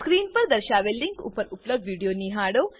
screen પર દર્શાવેલ link પર ઉપલબ્ધ વિડીયો નિહાળો